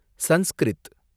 Sanskrit